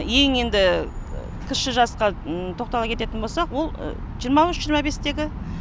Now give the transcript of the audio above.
ең енді кіші жасқа тоқтала келетін болсақ ол жиырма үш жиырма бестегі